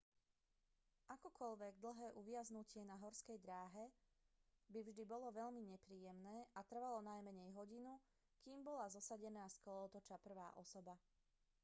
akokoľvek dlhé uviaznutie na horskej dráhe by vždy bolo veľmi nepríjemné a trvalo najmenej hodinu kým bola zosadená z kolotoča prvá osoba